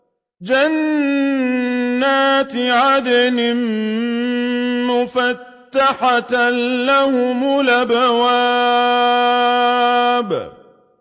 جَنَّاتِ عَدْنٍ مُّفَتَّحَةً لَّهُمُ الْأَبْوَابُ